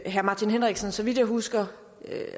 herre martin henriksen så vidt jeg husker